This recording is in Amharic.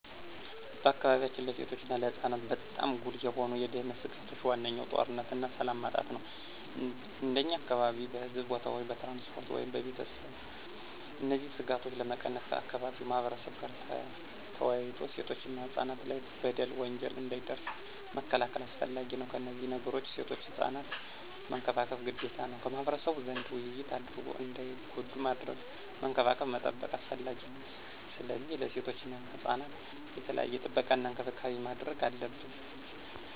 በአካባቢያችን ለሴቶች እና ለህፃናት በጣም ጉልህ የሆኑ የደህንነት ስጋቶች ዋነኛው ጦርነትና ሰላም ማጣት ነው። እንደኛ አካባቢ በሕዝብ ቦታዎች፣ በትራንስፖርት ወይም በቤተሰብ እነዚህን ስጋቶች ለመቀነስ ከአካባቢው ማህበረብ ጋር ተወያይቶ ሴቶችና ህፃናት ላይ በደል፣ ወንጀል እንዳይደርስ መከላከል አስፈላጊ ነው። ከነዚህ ነገሮችም ሴቶችና ህፃናት መንከባከብ ግዴታ ነው። ከማህበረሰቡ ዘንድ ውይይት አድርጎ እንዳይጎዱ ማድረግ፣ መንከባከብ መጠበቅ አስፈላጊ ነው። ስለዚህ ለሴቶችና ህፃናት የተለየ ጥበቃና እንክብካቤ ማድረግ አለብን።